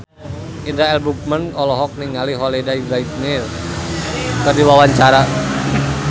Indra L. Bruggman olohok ningali Holliday Grainger keur diwawancara